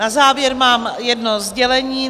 Na závěr mám jedno sdělení.